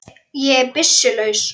Ég er byssu laus.